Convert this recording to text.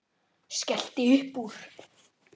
Skellti upp úr.